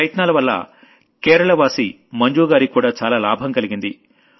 ఈ ప్రయత్నాలవల్ల కేరళవాసియైన మంజుగారికి కూడా చాలా లాభం కలిగింది